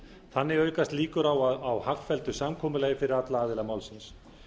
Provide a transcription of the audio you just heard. þannig aukast líkur á hagfelldu samkomulagi fyrir alla aðila málsins